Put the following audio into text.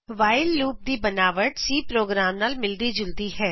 ਵਾਉਲ loop ਦੀ ਬਨਾਵਟ C ਪ੍ਰੋਗਰਾਮਾ ਨਾਲ ਮਿਲਦੀ ਜੁਲਦੀ ਹੈ